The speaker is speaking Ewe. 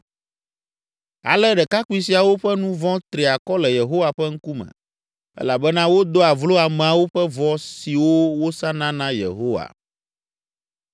Ale ɖekakpui siawo ƒe nu vɔ̃ tri akɔ le Yehowa ƒe ŋkume elabena wodoa vlo ameawo ƒe vɔ siwo wosana na Yehowa.